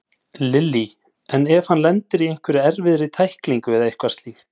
Lillý: En ef hann lendir í einhverri erfiðri tæklingu eða eitthvað slíkt?